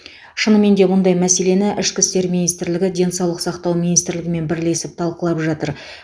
шынымен де мұндай мәселені ішкі істер министрлігі денсаулық сақтау министрлігімен бірлесіп талқылап жатыр